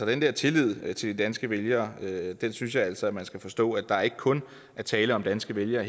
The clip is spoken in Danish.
den der tillid til de danske vælgere synes jeg altså at man skal forstå at der ikke kun er tale om danske vælgere